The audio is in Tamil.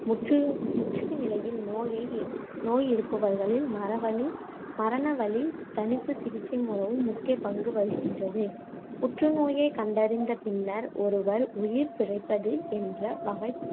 முற்று~ முற்றிய நிலையில் நோயை நோய் இருப்பவர்களில், மரவலி~ மரணவலி தணிப்புச் சிகிச்சை மிகவும் முக்கிய பங்கு வகிக்கின்றது புற்று நோயைக் கண்டறிந்த பின்னர் ஒருவர் உயிர் பிழைப்பது, என்ற வகை